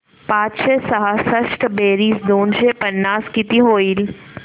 पाचशे सहासष्ट बेरीज दोनशे पन्नास किती होईल